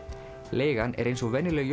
leigan er eins og venjuleg